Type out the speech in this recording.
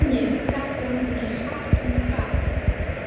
Nú kem ég, kallaði hún eins hátt og hún gat.